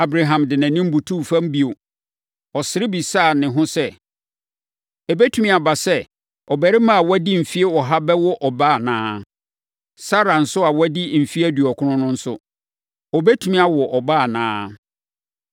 Abraham de nʼanim butuu fam bio. Ɔsere bisaa ne ho sɛ, “Ɛbɛtumi aba sɛ ɔbarima a wadi mfeɛ ɔha bɛwo ɔba anaa? Sara nso a wadi mfeɛ aduɔkron no nso, ɔbɛtumi awo ɔba anaa?”